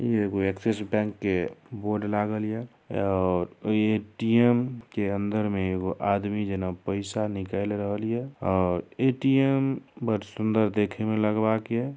इ एगो Axis bank के बोर्ड लागल ये और ए.टी.एम. के अंदर मे एगो आदमी जना पैसा निकाएल रहल ये और ए.टी.एम. बड़ सुंदर देखे मे लगवाक ये।